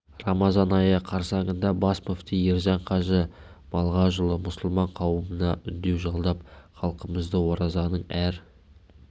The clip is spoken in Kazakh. рамазан айы қарсаңында бас мүфти ержан қажы малғажыұлы мұсылман қауымына үндеу жолдап халқымызды оразаның әр